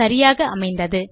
சரியாக அமைந்தது